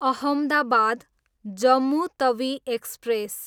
Ahmedabad, Jammu Tawi express